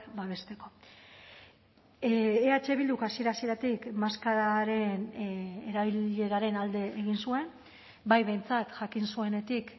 babesteko eh bilduk hasiera hasieratik maskararen erabileraren alde egin zuen bai behintzat jakin zuenetik